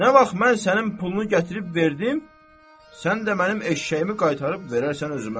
Nə vaxt mən sənin pulunu gətirib verdim, sən də mənim eşşəyimi qaytarıb verərsən özümə.